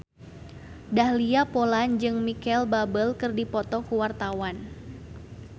Dahlia Poland jeung Micheal Bubble keur dipoto ku wartawan